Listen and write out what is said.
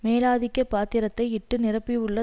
மேலாதிக்க பாத்திரத்தை இட்டு நிரப்பியுள்ள